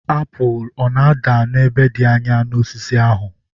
Apụl ọ na-ada n'ebe dị anya n'osisi ahụ?